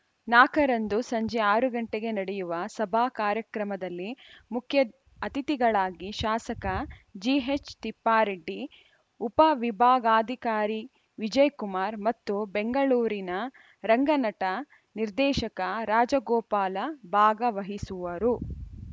ನಾಲ್ಕರಂದು ಸಂಜೆ ಆರು ಗಂಟೆಗೆ ನಡೆಯುವ ಸಭಾ ಕಾರ್ಯಕ್ರಮದಲ್ಲಿ ಮುಖ್ಯಅತಿಥಿಗಳಾಗಿ ಶಾಸಕ ಜಿಎಚ್‌ ತಿಪ್ಪಾರೆಡ್ಡಿ ಉಪವಿಭಾಗಾಧಿಕಾರಿ ವಿಜಯಕುಮಾರ್‌ ಮತ್ತು ಬೆಂಗಳೂರಿನ ರಂಗನಟ ನಿರ್ದೇಶಕ ರಾಜಗೋಪಾಲ ಭಾಗವಹಿಸುವರು